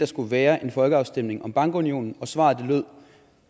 skulle være en folkeafstemning om bankunionen og svar lød